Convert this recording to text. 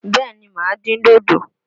Bẹ́ẹ̀ ni, màá dín dòdò.